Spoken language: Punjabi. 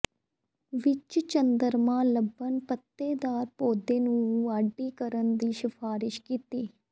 ਵਿਚ ਚੰਦਰਮਾ ਲੱਭਣ ਪੱਤੇਦਾਰ ਪੌਦੇ ਨੂੰ ਵਾਢੀ ਕਰਨ ਦੀ ਸਿਫਾਰਸ਼ ਕੀਤੀ